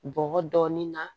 Bɔgɔ dɔɔnin na